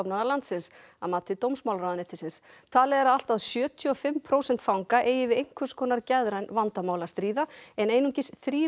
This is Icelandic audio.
landsins að mati dómsmálaráðuneytisins talið er að allt að sjötíu og fimm prósent fanga eigi við einhvers konar geðræn vandamál að stríða en einungis þrír